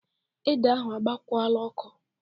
Ede ahụ agbakwola ọkụ!